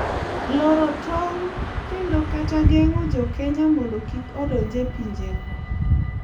loro tong' kendo kata geng’o jo Kenya mondo kik odonj e pinjego